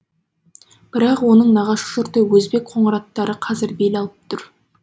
бірақ оның нағашы жұрты өзбек қоңыраттары қазір бел алып тұр